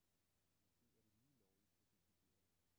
Måske er det lige lovligt sofistikeret.